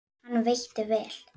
Hann veitti vel